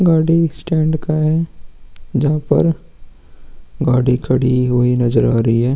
गाड़ी स्टैंड का है जहाँ पर गाड़ी हुई नजर आ रही है ।